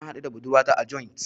Na haɗu da budurwata a joint.